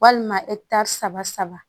Walima ɛkitari saba saba